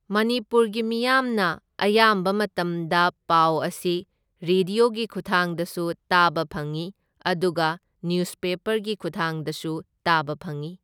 ꯃꯅꯤꯄꯨꯔꯒꯤ ꯃꯤꯌꯥꯝꯅ ꯑꯌꯥꯝꯕ ꯃꯇꯝꯗ ꯄꯥꯎ ꯑꯁꯤ ꯔꯤꯗꯤꯌꯣꯒꯤ ꯈꯨꯠꯊꯥꯡꯗꯁꯨ ꯇꯥꯕ ꯐꯪꯏ ꯑꯗꯨꯒ ꯅ꯭ꯌꯨꯁꯄꯦꯄꯔꯒꯤ ꯈꯨꯊꯥꯡꯗꯁꯨ ꯇꯥꯕ ꯐꯪꯢ꯫